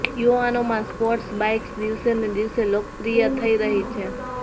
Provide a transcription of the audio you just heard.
યુવાનોમાં sports bikes દિવસેને દિવસે લોકપ્રિય થઈ રહી છે